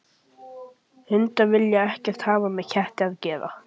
Hundar vilja ekkert hafa með ketti að gera.